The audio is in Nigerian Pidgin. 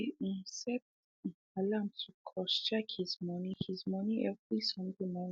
he um set um alarm to cross check his money his money every sunday morning